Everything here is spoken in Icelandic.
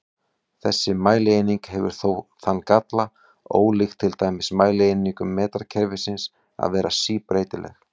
Þessi mælieining hefur þó þann galla, ólíkt til dæmis mælieiningum metrakerfisins, að vera síbreytileg.